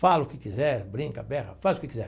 Fala o que quiser, brinca, berra, faz o que quiser.